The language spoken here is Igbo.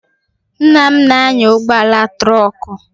Nna m na-anya ụgbọala trọkụ.